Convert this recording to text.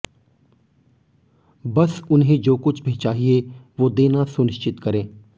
बस उन्हें जो कुछ भी चाहिए वो देना सुनिश्चित करें